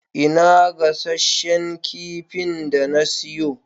Ina gasasshen kifin da na siyo?